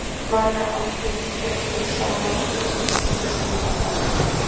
Margar aldir þjöppuðust saman í eitt svipult andartak